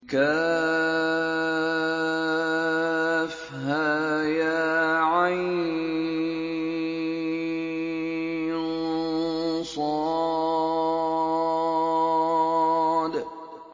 كهيعص